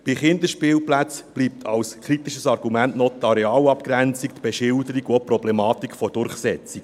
Bei den Kinderspielplätzen bleiben als kritische Argumente noch die Arealabgrenzung, die Beschilderung und auch die Problematik der Durchsetzung.